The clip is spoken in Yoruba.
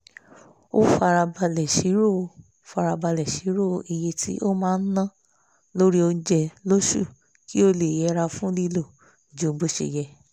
ó farabàlẹ̀ sírò farabàlẹ̀ sírò iye tí ó máa ná lórí oúnjẹ lóṣù kí ó lè yẹra fún lílo ju bó ṣe yẹ